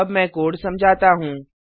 अब मैं कोड समझाता हूँ